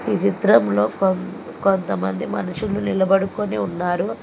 ఈ చిత్రంలో కొం కొంతమంది మనుషులు నిలబడుకుని ఉన్నారు.